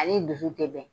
Ale dusu tɛ bɛn